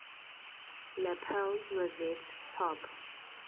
lapel rosette top